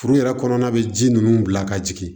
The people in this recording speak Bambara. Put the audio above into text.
Furu yɛrɛ kɔnɔna bɛ ji ninnu bila ka jigin